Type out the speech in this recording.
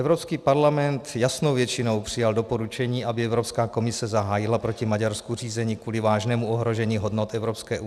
Evropský parlament jasnou většinou přijal doporučení, aby Evropská komise zahájila proti Maďarsku řízení kvůli vážnému ohrožení hodnot EU.